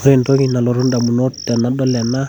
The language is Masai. Ore entoki nalotu indamunot tenadol ena,